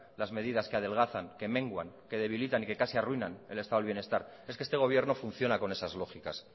las medidas que adelgazan que menguan que debilitan y que casi arruinan el estado de bienestar es que este gobierno funciona con esas lógicas